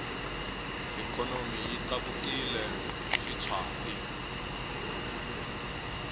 ikhonomi yi tlakukile xitshwati